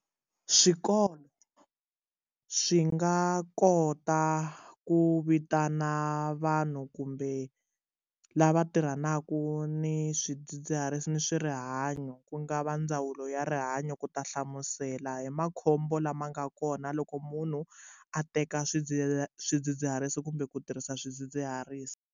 Swikolo swi nga kota ku vitana vanhu kumbe lava tirhanaka ni swidzidziharisi ni swi rihanyo ku nga va ndzawulo ya rihanyo ku ta hlamusela hi makhombo lama nga kona loko munhu a teka swidzidziharisi kumbe ku tirhisa swidzidziharisi.